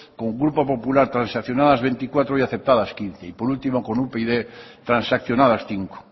con el grupo popular transaccionadas veinticuatro y aceptadas quince y por último con upyd transaccionadas cinco